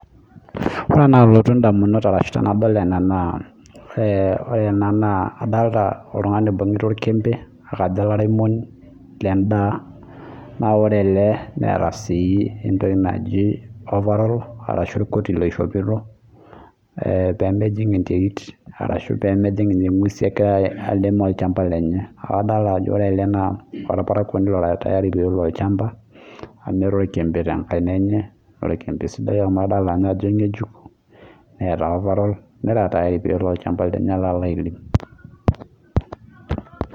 Wore ena nalotu indamunot arashu tenadol ena naa, wore ena naa kadoolta oltungani oibungita orkiembe, naa kajo olairemoni lendaa, naa wore ele neeta sii entoki naji overall arashu entoki naishopito, peemejing enterit arashu pee mejing ninye inguesin ekira airem olchamba lenye. Kake adoolta ajo wore ele naa olparakuoni ora tayari peelo olchamba, amu eeta orkiembe tenkaina enye, naa orkiembe sidai amu adoolta ninye ajo ainyiejuk, neeta overall, nera tayari peyie elo olchamba lenye alo airem.